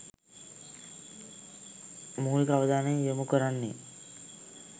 මූලික අවධානය යොමු කරන්නේ